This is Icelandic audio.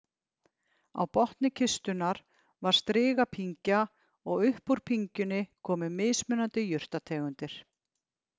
Á botni kistunnar var strigapyngja og upp úr pyngjunni komu mismunandi jurtategundir.